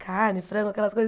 Carne, frango, aquelas coisas.